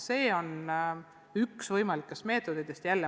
See on üks võimalikest meetoditest.